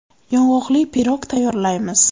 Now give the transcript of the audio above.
Yong‘oqli pirog tayyorlaymiz.